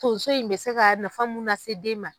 Tonso in bɛ se ka nafa mun lase den ma.